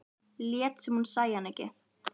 Lét sem hún sæi hann ekki.